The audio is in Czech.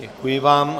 Děkuji vám.